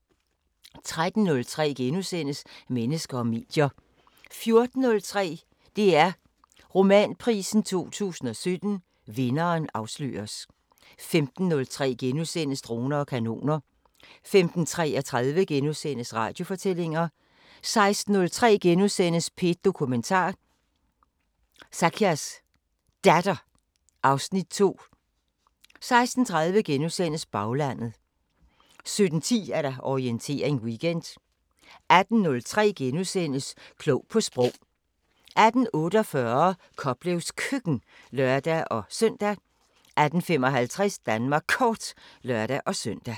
13:03: Mennesker og medier * 14:03: DR Romanprisen 2017 – vinderen afsløres 15:03: Droner og kanoner * 15:33: Radiofortællinger * 16:03: P1 Dokumentar: Zakias Datter (Afs. 2)* 16:30: Baglandet * 17:10: Orientering Weekend 18:03: Klog på Sprog * 18:48: Koplevs Køkken (lør-søn) 18:55: Danmark Kort (lør-søn)